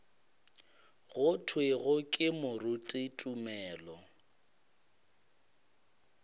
go thwego ke moruti tumelo